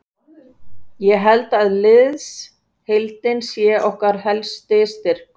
Ég held að liðsheildin sé okkar helsti styrkur.